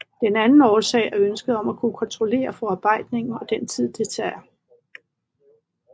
Den anden årsag er ønsket om at kunne kontrollere forarbejdningen og den tid det tager